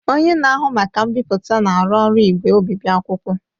Onye na-ahụ maka mbipụta na-arụ ọrụ igwe obibi akwụkwọ.